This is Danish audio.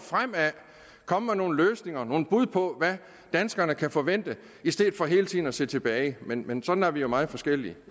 komme med nogle løsninger nogle bud på hvad danskerne kan forvente i stedet for hele tiden at se tilbage men men sådan er vi jo meget forskellige